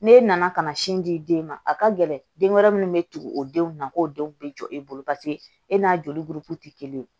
Ne nana ka na sin di den ma a ka gɛlɛn den wɛrɛ minnu bɛ tugu o denw na k'o denw bɛ jɔ e bolo paseke e n'a joli buruku tɛ kelen ye